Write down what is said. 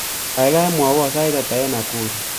Gaigai mwawon sait ata eng Nakuru